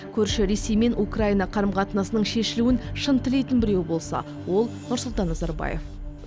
көрші ресей мен украина қарым қатынасының шешілуін шын тілейтін біреу болса ол нұрсұлтан назарбаев